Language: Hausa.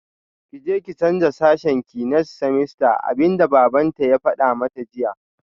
Kije ki canza sashenki next semester abinda babanta ya fada mata jiya